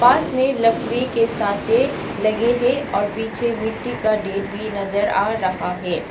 पास में लकड़ी के सांचे लगे हैं और पीछे मिट्टी का ढेर भी नज़र आ रहा है।